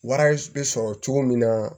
Wari bɛ sɔrɔ cogo min na